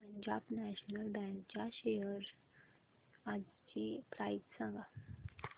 Punjab National Bank च्या shares आजची price सांगा